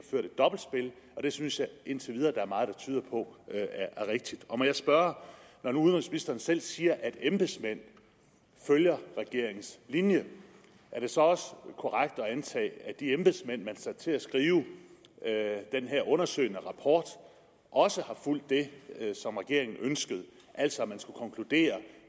har det synes jeg indtil videre der er meget der tyder på er rigtigt må jeg spørge når nu udenrigsministeren selv siger at embedsmænd følger regeringens linje er det så også korrekt at antage at de embedsmænd man satte til at skrive den her undersøgende rapport også har fulgt det som regeringen ønskede altså at de skulle konkludere